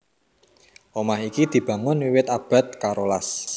Omah iki dibangun wiwit abad karolas